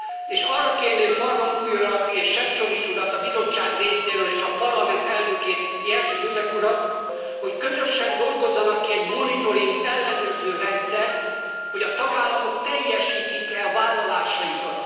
És arra kérném Van Rompuy urat és Sefcovic urat a Bizottság részéről és a Parlament elnökét, Jerzy Buzek urat, hogy közösen dolgozzanak ki egy monitoring, ellenőrző rendszert, hogy a tagállamok teljesítik e a vállalásaikat.